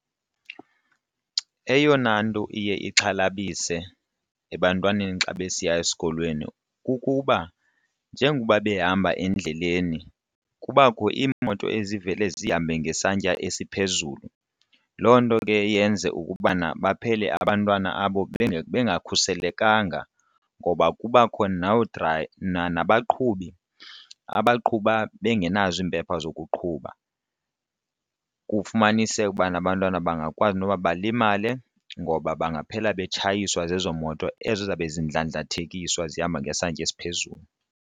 Eyona nto iye ixhalabise ebantwaneni xa besiya esikolweni kukuba njengoba behamba endleleni kubakho iimoto ezivele zihambe ngesantya esiphezulu, loo nto ke yenze ukubana baphele abantwana abo bengakhuselekanga ngoba kubakho nabaqhubi abaqhuba bengenazo iimpepha zokuqhuba. Kufumaniseke ubana abantwana bangakwazi noba balimale ngoba bangaphela betshayiswa zezo moto ezo zizabe zindlandlathekiswa zihamba ngesantya esiphezulu.